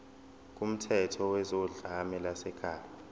kumthetho wezodlame lwasekhaya